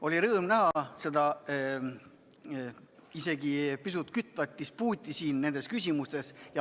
Oli rõõm näha siin isegi pisut kirgi kütvat dispuuti nendes küsimustes.